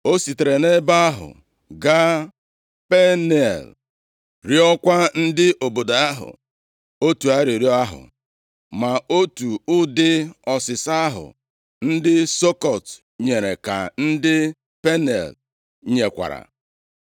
O sitere nʼebe ahụ gaa Peniel + 8:8 Ebe Jekọb gbasoro Chineke mgba \+xt Jen 32:30-31\+xt* rịọkwaa ndị obodo ahụ otu arịrịọ ahụ. Ma otu ụdị ọsịsa ahụ ndị Sukọt nyere ka ndị Peniel nyekwara.